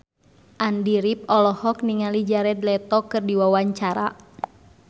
Andy rif olohok ningali Jared Leto keur diwawancara